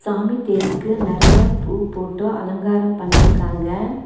சாமி தேருக்கு நெறையா பூ போட்டு அலங்காரம் பண்ணிருக்காங்க.